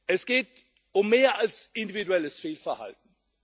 Es geht um mehr als individuelles Fehlverhalten.